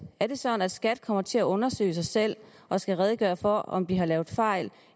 er det sådan at skat kommer til at undersøge sig selv og skal redegøre for om de har lavet fejl